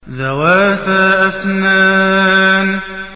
ذَوَاتَا أَفْنَانٍ